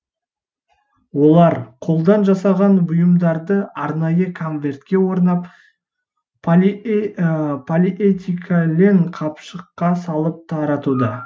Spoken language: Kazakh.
олар қолдан жасаған бұйымдарын арнайы конвертке орап полиэтилен қапшыққа салып таратуда